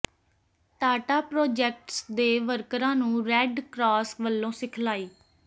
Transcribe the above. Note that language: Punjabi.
ਟਾਟਾ ਪ੍ਰੋਜੈਕਟਸ ਦੇ ਵਰਕਰਾਂ ਨੂੰ ਰੈੱਡ ਕਰਾਸ ਵੱਲੋਂ ਸਿਖਲਾਈ